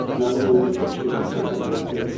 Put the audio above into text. Məlum oldu ki, heç birinin sənədi yoxdur.